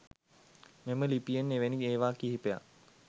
මෙම ලිපියෙන් එවැනි ඒවා කිහිපයක්